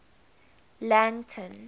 langton